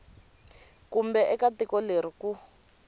kumbe eka tiko leri ku